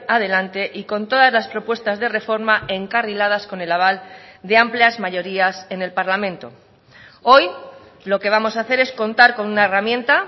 adelante y con todas las propuestas de reforma encarriladas con el aval de amplias mayorías en el parlamento hoy lo que vamos a hacer es contar con una herramienta